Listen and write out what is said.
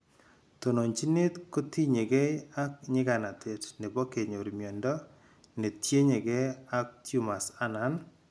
Tononjinet kotinyegei ak nyiganatet nebo kenyor miondo netienyegei ak tumors anan